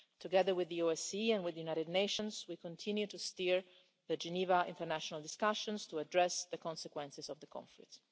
Together with the OSCE and with the United Nations, we continue to steer the Geneva international discussions to address the consequences of the conflict.